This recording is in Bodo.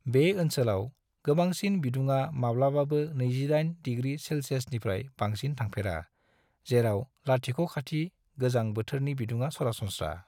बे ओनसोलाव गोबांसिन बिदुङा माब्लाबाबो 28 डिग्री सेल्सियसनिफ्राय बांसिन थांफेरा जेराव लाथिख'खाथि गोजां बोथोरनि बिदुङा सरासनस्रा।